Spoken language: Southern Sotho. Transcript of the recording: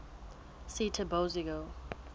seetebosigo